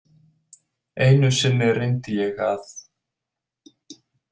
Einu sinni reyndi ég að.